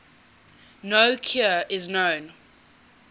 no cure is known